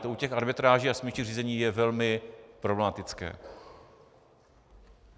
To u těch arbitráží a smírčích řízení je velmi problematické.